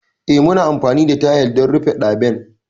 Eh, muna amfani da tayal don rufe daɓen.